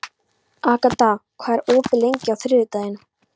Agata, hvað er opið lengi á þriðjudaginn?